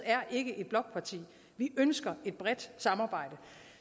er ikke et blokparti vi ønsker et bredt samarbejde